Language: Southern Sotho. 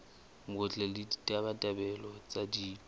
botle le ditabatabelo tsa ditho